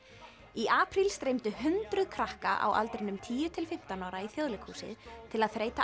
í apríl streymdu hundruð krakka á aldrinum tíu til fimmtán ára í Þjóðleikhúsið til að þreyta